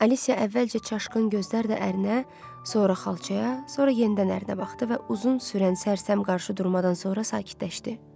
Alisya əvvəlcə çaşqın gözlərlə ərinə, sonra xalçaya, sonra yenidən ərinə baxdı və uzun sürən sərsəm qarşıdurmadan sonra sakitləşdi.